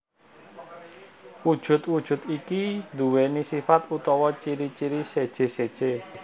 Wujud wujud iki duwéni sifat utawa ciri ciri seje seje